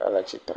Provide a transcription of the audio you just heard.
hele tsitre.